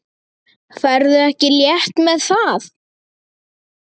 Ferðu ekki létt með það?